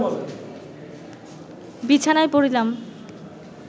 বিছানায় পড়িলাম